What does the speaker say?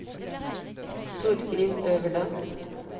Torgrim Øverland